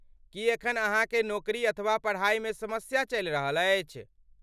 की एखन अहाँकेँ नोकरी अथवा पढ़ाइ मे समस्या चलि रहल अछि?